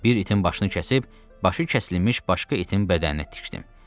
Bir itin başını kəsib, başı kəsilmiş başqa itin bədəninə tikdim.